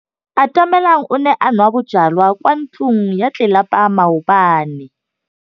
Atamelang o ne a nwa bojwala kwa ntlong ya tlelapa maobane.